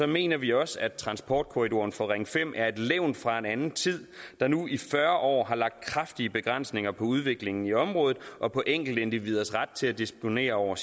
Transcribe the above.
mener vi også at transportkorridoren for ring fem er et levn fra en anden tid der nu i fyrre år har lagt kraftige begrænsninger på udviklingen i området og på enkeltindividers ret til at disponere over